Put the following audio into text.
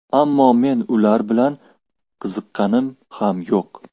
Ammo men ular bilan qiziqqanim ham yo‘q.